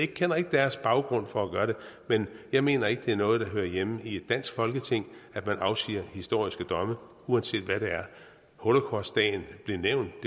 kender ikke deres baggrund for at gøre det men jeg mener ikke det er noget der hører hjemme i et dansk folketing at man afsiger historiske domme uanset hvad det er holocaustdagen blev nævnt